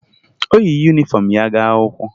O yi yunifọmụ ya gaa akwụkwọ